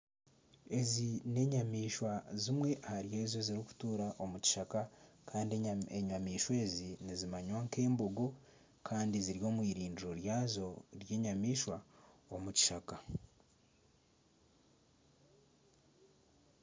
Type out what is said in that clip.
Ezi n'enyamaishwa zimwe ahari ezo ezirikutuura omu kishaka Kandi enyamaishwa ezi nizimanywa nka embogo Kandi ziri omu irindiro ryazo ery'enyamaishwa omu kishaka.